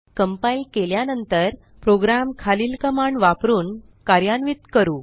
compile केल्यानंतर program खालील command वापरुन कार्यान्वित करू